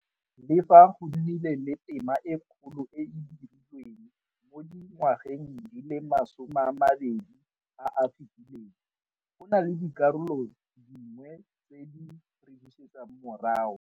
Le fa go nnile le tema e kgolo e e dirilweng mo dingwageng di le masomeamabedi a a fetileng, go na le dikarolo dingwe tse di re buseditseng morago.